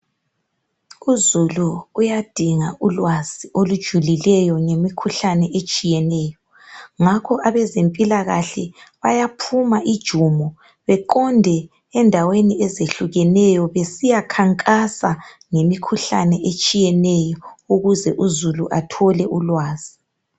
Uzulu uyadinga ulwazi olujulileyo ngemikhuhlane etshiyeneyo ngakho abezempilakahle bayaphuma ijumo beqonde endaweni ezehlukeneyo besiyakhankasa ngemikhuhlane etshiyeneyo ukuze uzulu athole ulwazi.